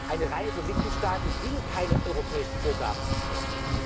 Eine Reihe von Mitgliedstaaten will keine europäischen Vorgaben